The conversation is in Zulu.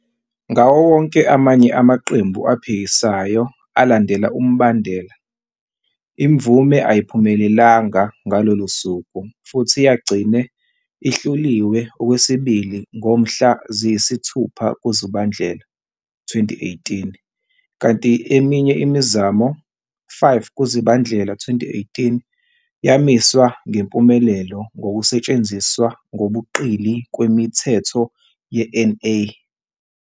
Ngawo wonke amanye amaqembu aphikisayo alandela umbandela, imvume ayiphumelelanga ngalolo suku futhi yagcina ihluliwe okwesibili ngomhla ziyi-6 kuZibandlela 2018 kanti eminye imizamo, 5 kuZibandlela 2018, yamiswa ngempumelelo ngokusetshenziswa ngobuqili kweMithetho ye-NA.